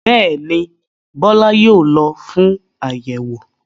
Bẹ́ẹ̀ ni, Bọ́lá yóò lọ fún àyẹ̀wò?